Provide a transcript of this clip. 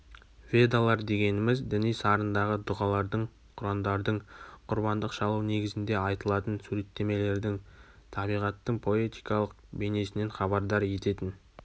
ведалар дегеніміз діни сарындағы дүғалардың құрандардың құрбандық шалу негізінде айтылатын суреттемелердің табиғаттың поэтикалық бейнесінен хабардар ететін